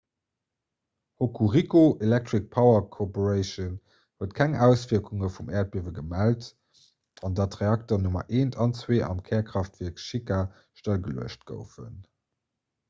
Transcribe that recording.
hokuriku electric power co huet keng auswierkunge vum äerdbiewe gemellt an datt d'reakteren nr 1 an 2 am kärkraaftwierk shika stëllgeluecht goufen